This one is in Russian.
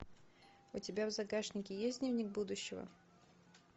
у тебя в загашнике есть дневник будущего